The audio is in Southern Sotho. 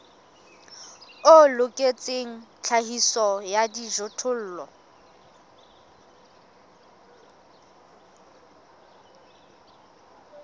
o loketseng tlhahiso ya dijothollo